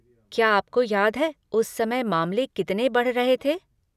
क्या आपको याद है उस समय मामले कितने बढ़ रहे थे?